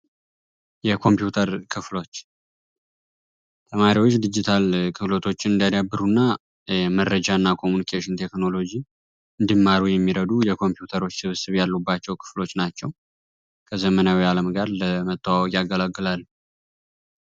የኮምፒውተር ክፍሎች ተማሪዎች ዲጅታል ክህሎት እንዲያዳብሩ እና መረጃ እና ኮሚኒኬሽን ቴክኖሎጂ እንዲማሩ የሚረዱ የኮምፒውተር ስብስብ ያሉባቸው ክፍሎች ናቸው። ከዘመናዊው አለም ጋር ለመተዋወቅ ያገለግላሉ።